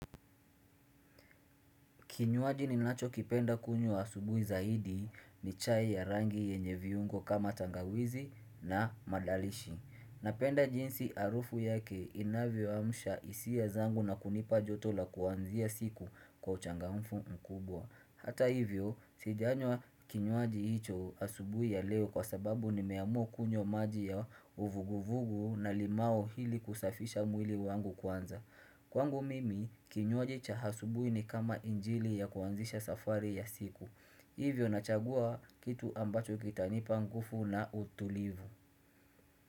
Kinywaji ninacho kipenda kunywa asubuhi zaidi ni chai ya rangi yenye viungo kama tangawizi na madalishi. Napenda jinsi harufu yake inavyoamsha hisia zangu na kunipa joto la kuanzia siku kwa uchangamfu mkubwa. Hata hivyo, sijanywa kinywaji hicho asubuhi ya leo kwa sababu nimeamua kunywa maji ya uvuguvugu na limau ili kusafisha mwili wangu kwanza. Kwangu mimi, kinywaji cha asubuhi ni kama injili ya kuanzisha safari ya siku. Hivyo nachagua kitu ambacho kitanipa nguvu na utulivu.